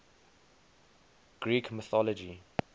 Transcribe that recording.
greek mythology